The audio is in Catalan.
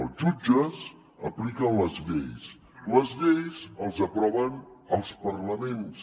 els jutges apliquen les lleis les lleis les aproven els parlaments